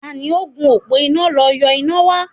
Tani ó gùn òpó iná lọ yọ iná wa?